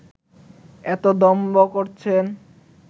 এতো দম্ভ করছেন